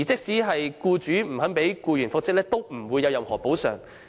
再者，僱主不讓僱員復職無須作出任何補償。